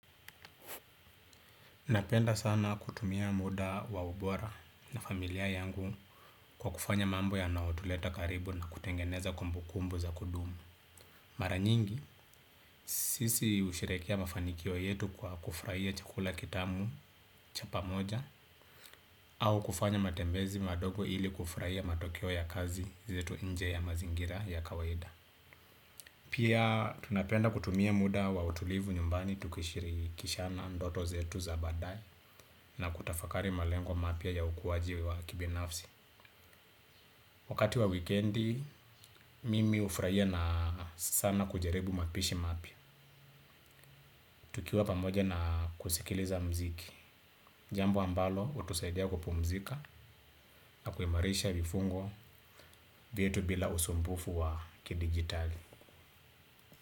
Napenda sana kutumia muda wa ubora na familia yangu kwa kufanya mambo yanao tuleta karibu na kutengeneza kumbu kumbu za kudumu. Maranyingi, sisi usherekea mafanikio yetu kwa kufraia chakula kitamu chapa moja au kufanya matembezi madogo ili kufraia matokeo ya kazi zetu nje ya mazingira ya kawaida. Pia tunapenda kutumia muda wa utulivu nyumbani tukishirikishana ndoto zetu za baadae na kutafakari malengwa mapya ya ukuwaji wa kibinafsi. Wakati wa weekendi, mimi hufraia na sana kujaribu mapishi mapia. Tukiwa pamoja na kusikiliza mziki. Jambo ambalo, hutusaidia kupumzika na kuimarisha vifungo vyetu bila usumbufu wa kidigitali.